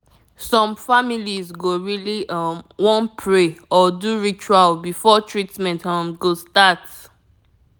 some people dey depend on both prayer and medicine to feel say dem don heal